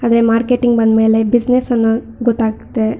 ಆದರೆ ಮಾರ್ಕೆಟ್ ಗೆ ಬಂದ ಮೇಲೆ ಬಿಸಿನೆಸ್ ಅನ್ನೋದು ಗೊತ್ತಾಗುತ್ತದೆ.